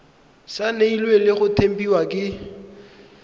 saenilwe le go tempiwa ke